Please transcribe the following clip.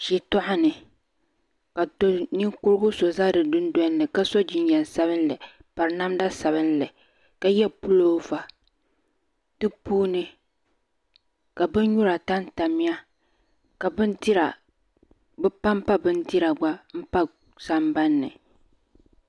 Shitɔɣani ka doo ninkuri so za di dundoli ka so jinjam sabinli n piri namda sabinli ka yɛ puloova di puuni ka bin nyura tam tam ya ka bi pan pa bindira gba n pa sambanni.